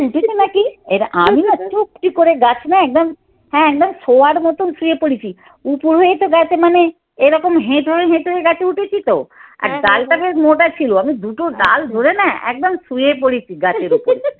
উঠেছে নাকি? এবার আমিও চুপটি করে গাছ না একদম হ্যাঁ একদম শোয়ার মতন শুয়ে পড়েছি উপুর হয়ে তো গাছে মানে এরকম হেঁটে হেঁটে গাছে উঠেছি তো আর ডালটা বেশ মোটা ছিল। আমি দুটো ডাল ধরে না একদম শুয়ে পড়েছি গাছের ওপরে।